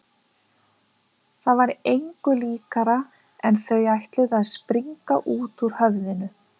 Það var engu líkara en þau ætluðu að springa út úr höfðinu.